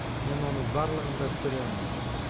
мен оның барлығын да түсінемін